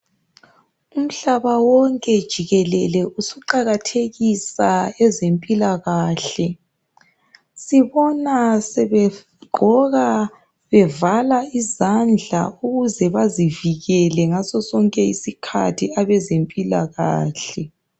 Umhlaba wonke jikelele usuqakathekisa ezempilakahle. Sibona sebegqoka bevala izandla ukuze bazivikele ngaso sonke isikhathi abezempilakahle.